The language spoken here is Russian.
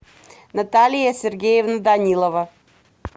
наталья сергеевна данилова